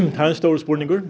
það er stóra spurningin